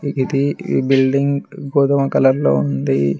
ఇది ఈ బిల్డింగ్ గోధుమ కలర్ లో ఉంది.